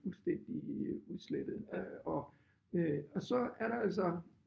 Fuldstændig udslettet øh og øh og så er der jo så